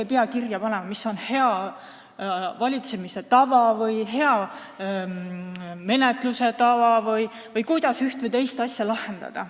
Ei pea kirja panema, mis on hea valitsemise tava või hea menetluse tava või kuidas ühte või teist asja lahendada.